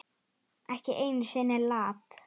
Ekki einu sinni Lat.